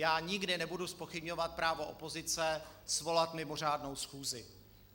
Já nikdy nebudu zpochybňovat právo opozice svolat mimořádnou schůzi.